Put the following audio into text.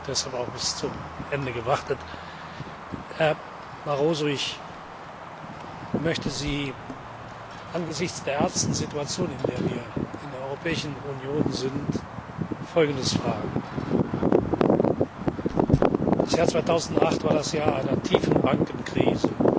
Ich habe deshalb auch bis zum Ende gewartet. Herr Barroso, ich möchte Sie angesichts der ernsten Situation, in der wir in der Europäischen Union sind, Folgendes fragen Das Jahr 2008 war das Jahr einer tiefen Bankenkrise.